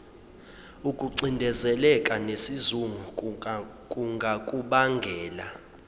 ukucindezeleka nesizungu kungakubangela